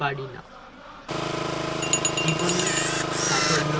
পারিনা জীবনে সাফল্য